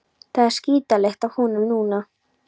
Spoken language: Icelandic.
Það er skítalykt af honum núna.